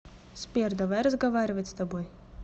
сбер давай разговаривать с тобой